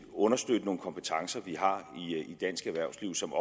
understøtte nogle kompetencer vi har i dansk erhvervsliv som